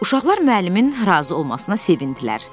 Uşaqlar müəllimin razı olmasına sevindilər.